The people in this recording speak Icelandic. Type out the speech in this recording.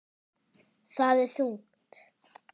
Það er þungt.